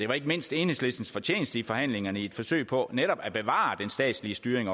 var ikke mindst enhedslistens fortjeneste i forhandlingerne i et forsøg på netop at bevare den statslige styring